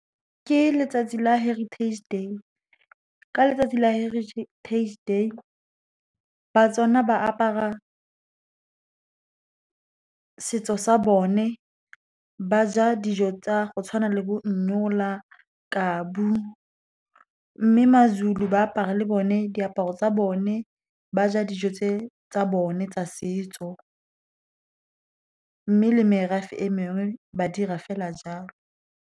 Ke letsatsi la Heritage Day. Ka letsatsi la Heritage Day, baTswana ba apara setso sa bone, ba ja dijo tsa go tshwana le bo , kabu. Mme MaZulu ba apara le bone diaparo tsa bone, ba ja dijo tse tsa bone tsa setso. Mme le merafe e mengwe ba dira fela jalo.